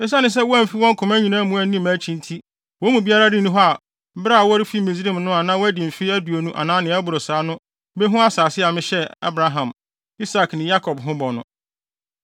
‘Esiane sɛ wɔamfi wɔn koma nyinaa mu anni mʼakyi nti wɔn mu biara nni hɔ a bere a wɔrefi Misraim no a na wadi mfe aduonu anaa nea ɛboro saa a no behu asase a mehyɛɛ Abraham, Isak ne Yakob ho bɔ no,